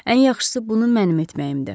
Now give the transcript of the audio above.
Ən yaxşısı bunu mənim etməyimdir.